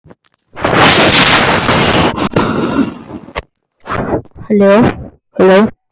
Þetta hefur gengið betur en við þorðum að vona.